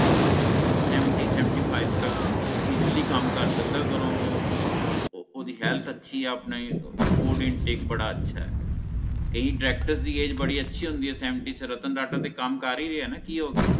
Seventy seventy five ਤਕ Easily ਕਾਮ ਕਰ ਸਕਦਾ ਅਗਰ ਓਹ ਓਹ ਓਹਦੀ Health ਅਚੀ ਹੈ ਆਪਣਾ Food intake ਬੜਾ ਅਛਾ ਹੈ ਕਈ Directors ਦੀ Age ਬੜੀ ਅਚੀ ਹੋਂਦੀ ਹੈ ਰਤਨ ਟਾਟਾ ਵੀ ਤਾ ਕਾਮ ਕਰ ਹੀ ਰਿਹਾ ਹੈ ਨਾ ਕੀ ਹੋ ਗਿਆ